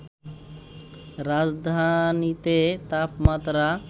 রাজধানীতে তাপমাত্রা